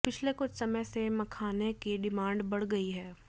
पिछले कुछ समय से मखाने की डिमांड बढ़ गई है